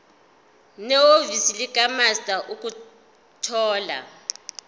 nehhovisi likamaster ukuthola